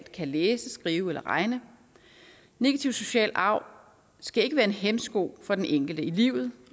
kan læse skrive eller regne negativ social arv skal ikke være en hæmsko for den enkelte i livet